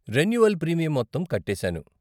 Renewal premium మొత్తం కట్టేసాను.